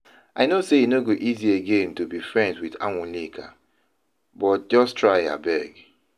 I know say e no go easy again to be friends with Anwulika but just try abeg